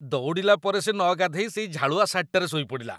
ଦୌଡ଼ିଲା ପରେ ସେ ନଗାଧେଇ ସେଇ ଝାଳୁଆ ସାର୍ଟଟାରେ ଶୋଇପଡ଼ିଲା ।